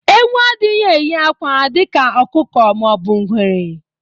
Ewu adịghị eyi akwa dịka ọkụkọ ma ọ bụ ngwere